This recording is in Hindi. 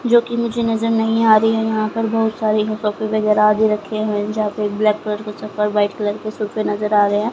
जोकि मुझे नजर नहीं आ रही है यहां पर बहुत सारी सोफे वगैरा आदि रखे हुए जहां पे ब्लैक कलर के चप्पल व्हाइट कलर के सोफे नजर आ रहे --